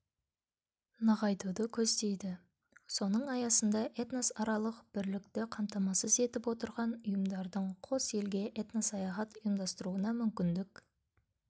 нығайтуды көздейді соның аясында этносаралық бірлікті қамтамасыз етіп отырған ұйымдардың қос елге этносаяхат ұйымдастыруына мүмкіндік